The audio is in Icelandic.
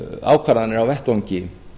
ákvarðanir á vettvangi